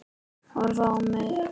Horfir á mig.